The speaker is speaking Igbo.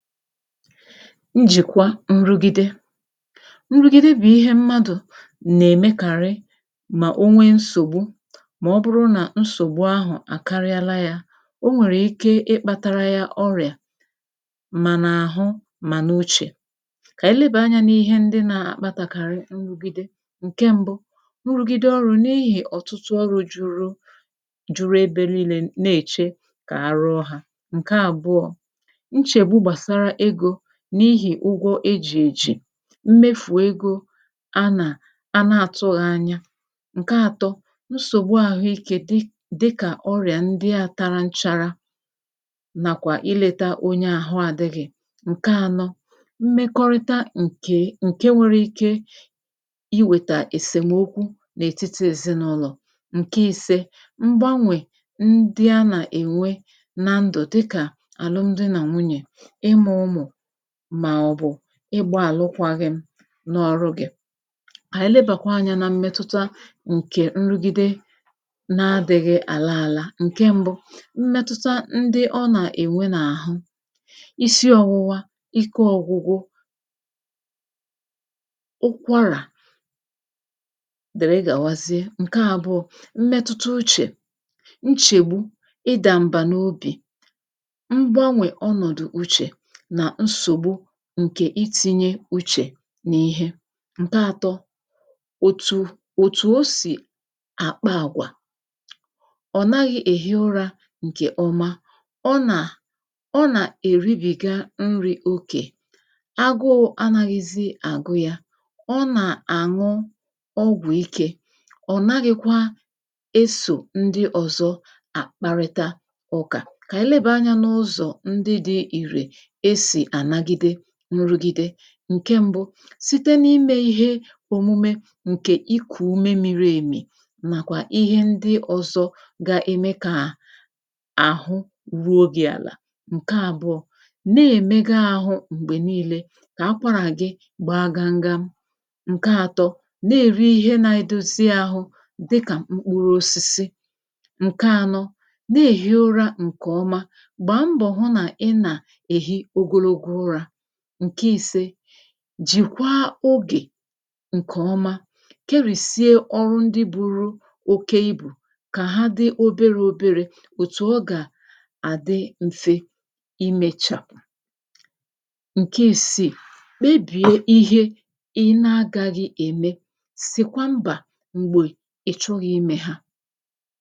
njìkwa nrūgide nrūgide bụ̀ ihe mmadụ̀ nà-èmekàrị mà o nwee nsògbu mà ọ bụrụ nà nsògbu ahụ̀ àkarịala ya ọ nwèrè ike ịkpātara ya ọrịà mànà àhụ màna uchè kà anyị lebà anya n’ihe ndị na-akpatakarị nrụgide ǹke mbu nrugide ọrụ n’ihi ọ̀tụtụ ọrụ juru juru ebe niile na-èche kà arụọ hā ǹke àbụọ nchèbu gbàsàra egō n’ihì ụgwọ ejì ejì mmefù ego a nà a na-atūghị anya ǹke àtọ nsògbu àhụike gi dịkà ọrịà ndịa tara nchara nàkwà ilēta onye àhụ adị̄ghị ǹke ànọ mmekọrịta ǹke ǹke nwere ike i wèta èsèmokwu n’etiti ezinaụlọ̀ ǹke ìse mgbānwè ndị a nà-ènwe na ndù dịkà àlụm di nà nwunyè ịmụ̄ umù màọbụ̀ ịgbā àlụkwaghị m n’ọrụ gī kà ànyị lebàkwa anyā nà mmetụta ǹke nrugide na adị̄ghị àla àla mmetuta n ndị ọ nà-ème n’àhụ isi ọ̀wụwa ike ọ̀gwụgwụ ụkwarà dère gàwazie ǹke àbụọ mmetụta uchè nchègbu ịdà m̀bà n’obì mgbànwe ọnọ̀dụ uchè nà nsogbu ǹkè itīnye uchè n’ihe ǹke àtọ òtu òtu o sì àkpa àgwà ọ̀ naghị èhi ụra ǹkè ọma ọ nà è rubị̀ga nrī ogè agụrụ anāghịzị àgụ ya ọ nà-àṅụ ọgwụ ikē ọ naghịkwa esò ndị ọ̀zọ àkparịta ụkà kà anyị lebà anyā n’ụzọ ndị di ìrè esì anagide nrugide ǹke m̀bu site nà-ime ihe ọ̀mụme ǹkè ikù ume miri èmi nàkwà ihe ndị ọ̀zọ ga-ème kà àhụ ruo gi àlà ǹke àbụọ na-èmega àhụ m̀gbè niilē kà akwarà gi gbaa gamgam ǹke àtọ na-èri ihe na-edozi àhụ dịkà mkpuru osisi ǹke ànọ na-èhi ụrā ǹkè ọma gbaa mbọ̀ hụ nà ị na èhi ogologo ụrā ǹke ìse jìkwa ogè ǹkè ọma kerìsie ọrụ ndị buru oke ibù kà ha di obere òbere òtù ọ gà àdị m̀fe imēchà ǹke ìsii kpebie ihe ị na-agāghị ème sìkwa mbà m̀gbè ị̀ chọghị ime ha